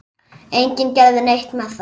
Enginn gerði neitt með það.